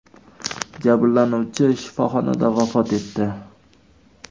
Jabrlanuvchi shifoxonada vafot etdi .